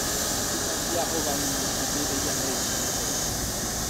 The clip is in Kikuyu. huduma cia ũgani nĩ citeithagia arĩmi kuogerera maciaro